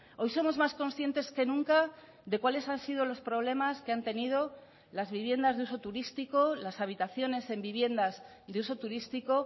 hoy somos más conscientes que nunca de cuáles han sido los problemas que han tenido las viviendas de uso turístico las habitaciones en viviendas de uso turístico